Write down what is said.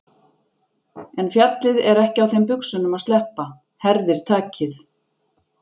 En fjallið er ekki á þeim buxunum að sleppa, herðir takið.